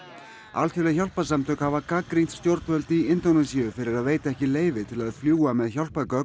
alþjóðleg hjálparsamtök hafa gagnrýnt stjórnvöld í Indónesíu fyrir að veita ekki leyfi til að fljúga með hjálpargögn